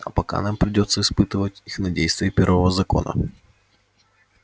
а пока нам придётся испытывать их на действие первого закона